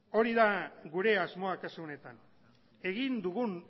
hori da gure asmoa kasu honetan egin dugun